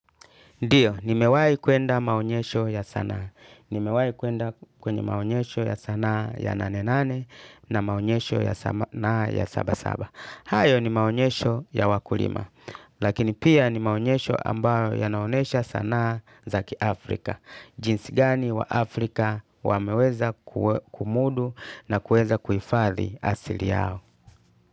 Ndiyo nimewahi kwenda maonyesho ya sanaa. Ni mewahi kwenda kwenye maonyesho ya sanaa ya nane nane na maonyesho ya sanaa ya saba saba. Hayo ni maonyesho ya wakulima. Lakini pia ni maonyesho ambayo yanaonyesha sanaa za kiAfrika. Jinsi gani wa Afrika wameweza kumudu na kuweza kuhifadhi asili yao.